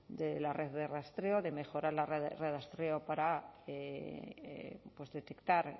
de la red de rastreo de mejorar la red de rastreo para detectar